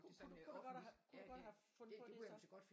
Kunne du kunne du godt have kunne du godt have fundet på det så?